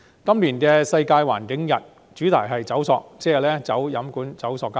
今年"世界環境日"的主題是"走塑"，即是棄用飲管、棄用塑膠。